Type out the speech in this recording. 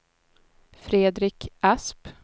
Fredrik Asp